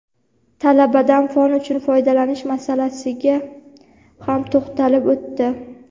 talabadan fon uchun foydalanish masalasiga ham to‘xtalib o‘tdi.